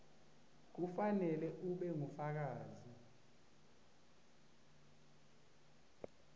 kufanele ube ngufakazi